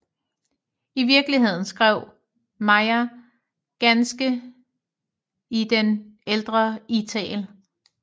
I virkeligheden skrev Mayr ganske i den ældre ital